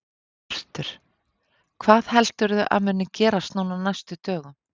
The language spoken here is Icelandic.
Hjörtur: Hvað heldurðu að muni gerast núna á næstu dögum?